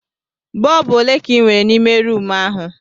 Bọlbụ ole ka ị nwere n'ime rumụ ahụ?